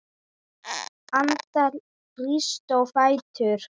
Anda, rístu á fætur.